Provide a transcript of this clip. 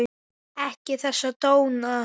Ekki þessa tóna!